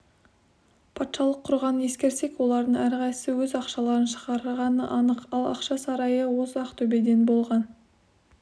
патшалық құрғанын ескерсек олардың әрқайсысы өз ақшаларын шығарғаны анық ал ақша сарайы осы ақтөбеде болған